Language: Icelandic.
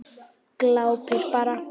Glápir bara.